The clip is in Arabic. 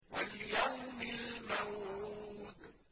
وَالْيَوْمِ الْمَوْعُودِ